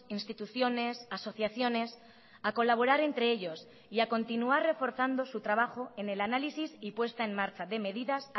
instituciones asociaciones a colaborar entre ellos y a continuar reforzando su trabajo en el análisis y puesta en marcha de medidas